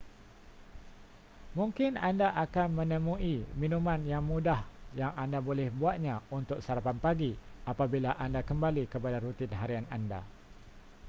mungkin anda akan menemui minuman yang mudah yang anda boleh buatnya untuk sarapan pagi apabila anda kembali kepada rutin harian anda